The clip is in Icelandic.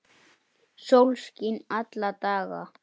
Sólskin alla daga.